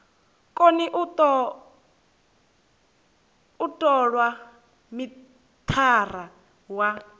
koni u tola mithara wa